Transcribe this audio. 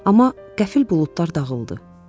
Amma qəfil buludlar dağıldı.